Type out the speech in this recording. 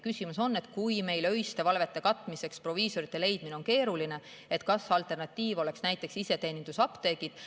Küsimus on, et kui meil on öiste valvete katmiseks proviisoreid leida keeruline, siis kas alternatiiv oleks näiteks iseteenindusapteegid.